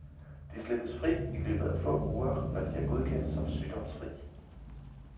De slippes fri i løbet af få uger, når de er godkendt som sygdomsfri.